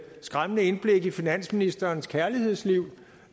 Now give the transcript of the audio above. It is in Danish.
skræmmende indblik i finansministerens kærlighedsliv